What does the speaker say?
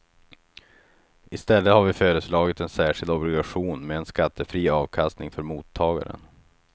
I stället har vi föreslagit en särskild obligation med en skattefri avkastning för mottagaren.